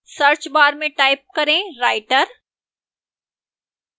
search bar में type करें writer